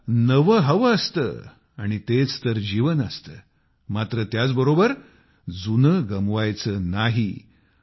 आपल्याला नवे हवे असते आणि तेच तर जीवन असते मात्र त्याचबरोबर जुने गमवायचे नाही